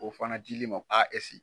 O fana dil'i ma a ese